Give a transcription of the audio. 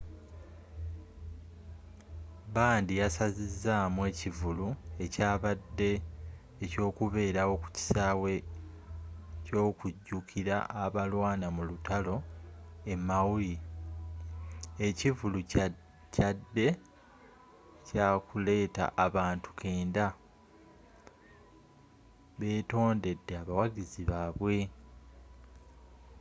bandi yasazizzamu ekivulu ekyabadde ekyokubelewo ku kisawe ky'okujjukira abalwana mu lutalo e maui ekivvulu kyaadde kyakuletta abantu kkenda betondedde abawagizi babwe